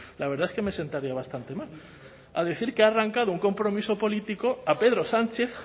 la verdad es que me sentaría bastante mal a decir que ha arrancado un compromiso político a pedro sánchez